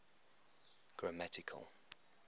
grammatical